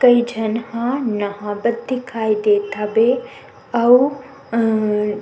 कई झन ह नहा बत दिखाई देत हवे अउ अअअ --